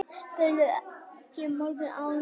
spurði ég mörgum árum síðar.